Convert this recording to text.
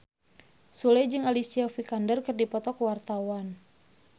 Sule jeung Alicia Vikander keur dipoto ku wartawan